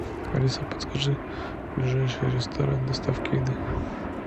алиса подскажи ближайший ресторан доставки еды